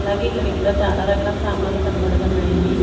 అలాగే ఇక్కడ ఇంకా చాలా రకాల సామాన్లు కనబడుతున్నాయి.